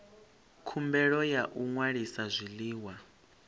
khumbelo ya u ṅwalisa zwiḽiwa